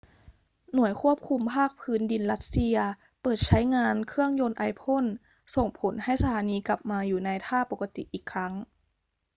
หน่วยควบคุมภาคพื้นดินรัสเซียเปิดใช้งานเครื่องยนต์ไอพ่นส่งผลให้สถานีกลับมาอยู่ในท่าปกติอีกครั้ง